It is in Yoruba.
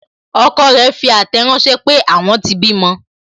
Ọkọ rẹ fi àtẹ̀ ránsẹ́ pé, àwọn tí bímọ